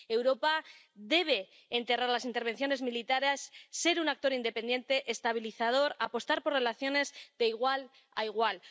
Europa debe enterrar las intervenciones militares, ser un actor independiente, estabilizador, apostar por relaciones de igual a igual.